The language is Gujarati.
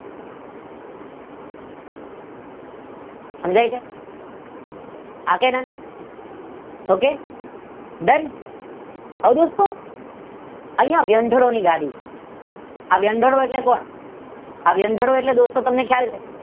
સમજાય છે? હા કે ના? ઓકે હવે દોસ્તો અહિયાં વ્યંઢાળો ની ગાડી છે આ વ્યંઢાળો એટલે કોણ દોસ્તો તમને ખ્યાળ છે?